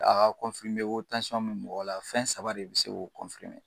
A ka ko tansiyɔn be mɔgɔ la , fɛn saba de be se k'o